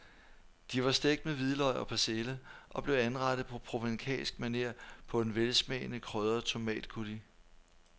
De var stegt med hvidløg og persille og blev anrettet på provencalsk maner på en velsmagende krydret tomatcoulis.